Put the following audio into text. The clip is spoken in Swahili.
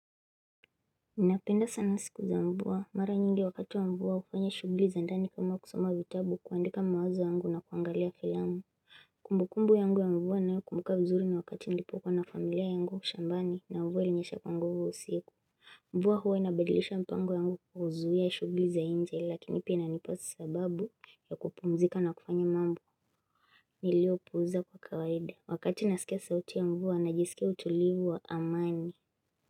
Ninapenda sana siku za mvua. Mara nyingi wakati wa mvua ufanya shughuli za ndani kama kusoma vitabu, kuandika mawazo yangu na kuangalia filamu Kumbukumbu yangu ya mvua ninayo kumbuka vizuri ni wakati nilipokuwa na familia yangu shambani, na mvua ilinyesha kwa nguvu usiku. Mvua huwa inabadilisha mpango yangu kuzuia shughuli za inje lakini pia inapa sababu ya kupumzika na kufanya mambo. Niliopuuza kwa kawaida. Wakati nasikia sauti ya mvua na jisikia utulivu wa amani.